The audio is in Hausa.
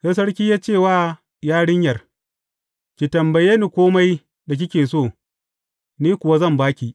Sai Sarkin ya ce wa yarinyar, Ki tambaye ni kome da kike so, ni kuwa zan ba ki.